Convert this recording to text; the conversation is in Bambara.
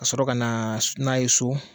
Ka sɔrɔ ka na n'a ye so